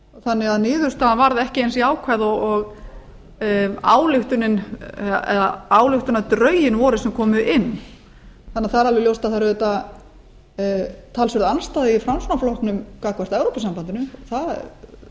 þannig að niðurstaðan varð ekki eins jákvæð og ályktunardrögin voru sem komu inn það er því alveg ljóst að það er auðvitað talsverð andstaða í framsóknarflokknum gagnvart evrópusambandinu það